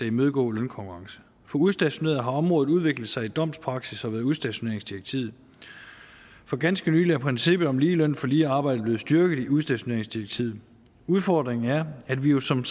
imødegå lønkonkurrence for udstationerede har området udviklet sig i domspraksis og ved udstationeringsdirektivet for ganske nylig er princippet om lige løn for lige arbejde blevet styrket i udstationeringsdirektivet udfordringen er at vi jo som